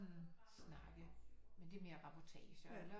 Snakke men det er mere reportager eller